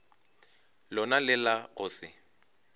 lona le la go se